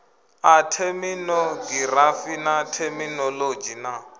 a theminogirafi na theminolodzhi na